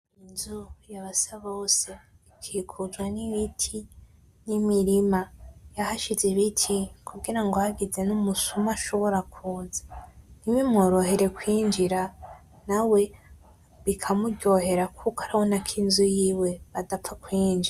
Inzu ya Basabose ikikujwe n'ibiti n'imirima, yahashize ibiti kugira ngo hagize n'umusuma ashobora kuza ntibimworohere kwinjira , nawe bikamuryohera kuko arabona ko inzu yiwe bafapfa kuyinjira.